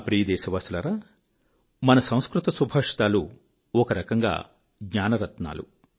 నా ప్రియ దేశవాసులారా మన సంస్కృత సుభాషితాలు ఒక రకంగా జ్ఞాన రత్నాలు